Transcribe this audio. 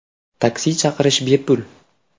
Taksi chaqirish bepul.